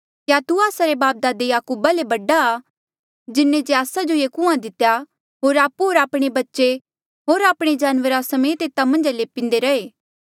क्या तू आस्सा रे बापदादे याकूबा ले बडा आ जिन्हें जे आस्सा जो ये कुंआं दितेया होर आपु होर आपणे बच्चे होर आपणे जानवरा समेत एता मन्झा ले पींदे रैहे